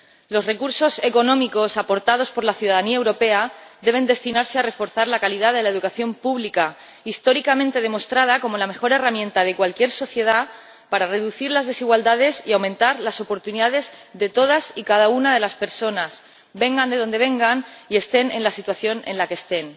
Los recursos económicos aportados por la ciudadanía europea deben destinarse a reforzar la calidad de la educación pública, que históricamente ha demostrado ser la mejor herramienta de cualquier sociedad para reducir las desigualdades y aumentar las oportunidades de todas y cada una de las personas, vengan de donde vengan y estén en la situación en la que estén.